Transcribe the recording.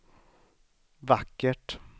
vackert